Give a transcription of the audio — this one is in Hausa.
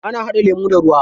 Ana haɗa lemu da ruwa.